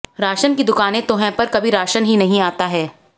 ration की दुकानें तो है पर कभी राशन ही नहीं आता है